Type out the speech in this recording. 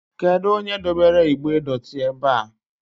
Kedu onye dobere igbe dotii ebea?